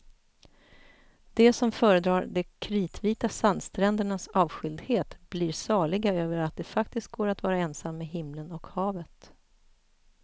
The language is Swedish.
De som föredrar de kritvita sandsträndernas avskildhet blir saliga över att det faktiskt går att vara ensam med himlen och havet.